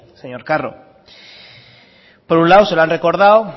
señor carro por un lado se lo han recordado